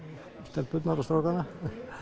stelpurnar og strákana